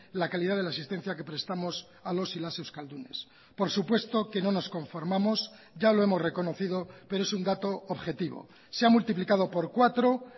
la calidad de la asistencia que prestamos a los y las euskaldunes por supuesto que no nos conformamos ya lo hemos reconocido pero es un dato objetivo se ha multiplicado por cuatro